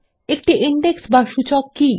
একটি ইন্ডেক্স বা সূচক কি